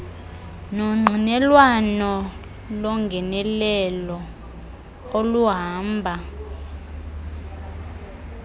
nongqinelwano longenelelo oluhamba